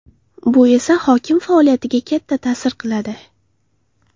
Bu esa hokim faoliyatiga katta ta’sir qiladi.